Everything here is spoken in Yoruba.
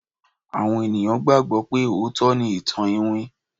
àwọn ènìyàn gbagbo pe ootọ ni ìtàn iwin